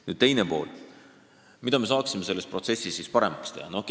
Nüüd teine pool: mida me saaksime selles protsessis paremaks teha?